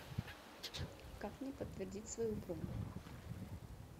как мне подтвердить свою бронь